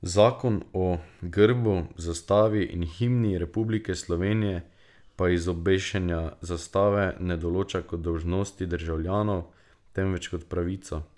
Zakon o grbu, zastavi in himni Republike Slovenije pa izobešanja zastave ne določa kot dolžnosti državljanov, temveč kot pravico.